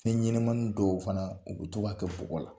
Fɛnɲɛnamanin dɔw fana u to b'a kɛ bugɔgɔ la